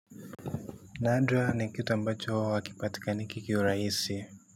Nadra ni kitu ambacho, hakipatikani kikiwa raisi.